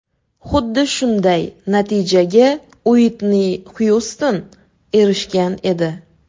Xuddi shunday natijaga Uitni Xyuston erishgan edi.